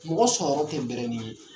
Mɔgɔ sɔrɔ tɛ bɛrɛnin ye.